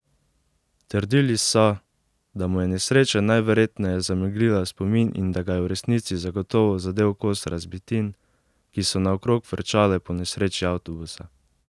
Trdili so, da mu je nesreča najverjetneje zameglila spomin in ga da je v resnici zagotovo zadel kos razbitin, ki so naokrog frčale po nesreči avtobusa.